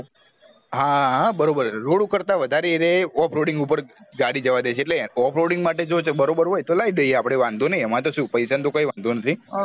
હા હ બરોબર road કરતાં વધારે એર્યા off roading ઉપર ગાડી જવાદે છે off roading માટે જો બરોબર હોય તો લાયી દયીયે અપડે વાંધો નહિ એમાં તો શું પૈસા નો તો કોઈ વાંધો નથી